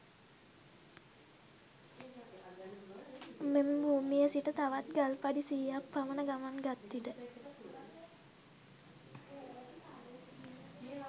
මෙම භූමියේ සිට තවත් ගල් පඩි සියයක් පමණ ගමන් ගත් විට